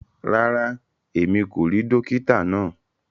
Ràrá, ẹ̀mi kò ríì dòkìtà naa.